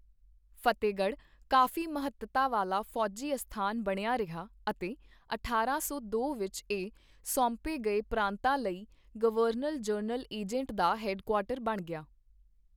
ਫਤਿਹਗੜ੍ਹ ਕਾਫ਼ੀ ਮਹੱਤਤਾ ਵਾਲਾ ਫੌਜੀ ਅਸਥਾਨ ਬਣਿਆ ਰਿਹਾ ਅਤੇ ਅਠਾਰਾਂ ਸੌ ਦੋ ਵਿਚ ਇਹ ਸੌਂਪੇ ਗਏ ਪ੍ਰਾਂਤਾਂ ਲਈ ਗਵਰਨਰ ਜਨਰਲ ਏਜੰਟ ਦਾ ਹੈਡਕੁਆਟਰ ਬਣ ਗਿਆ।